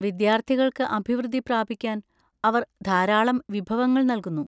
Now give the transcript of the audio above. വിദ്യാർത്ഥികൾക്ക് അഭിവൃദ്ധി പ്രാപിക്കാൻ അവർ ധാരാളം വിഭവങ്ങൾ നൽകുന്നു.